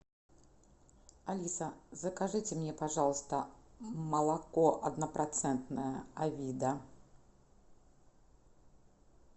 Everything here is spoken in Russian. алиса закажите мне пожалуйста молоко однопроцентное авида